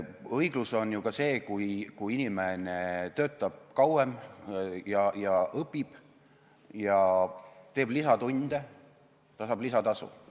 Õiglus on ju ka see, kui inimene töötab kauem, õpib, teeb lisatunde ning saab siis lisatasu.